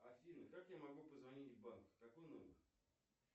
афина как я могу позвонить в банк какой номер